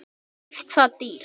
Keypt það dýrt.